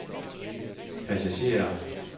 passagerer